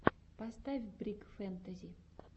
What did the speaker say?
поставь брик фэнтази